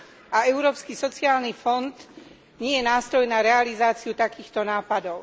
A Európsky sociálny fond nie je nástroj na realizáciu takýchto nápadov.